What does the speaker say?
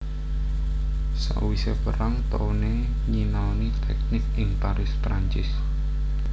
Sawise perang Towne nyinaoni teknik ing Paris Perancis